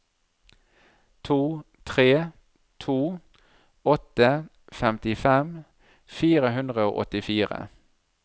to tre to åtte femtifem fire hundre og åttifire